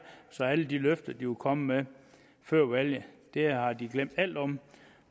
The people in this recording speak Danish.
så alle de løfter de kom med før valget har de glemt alt om